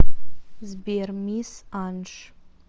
сбер мисс анш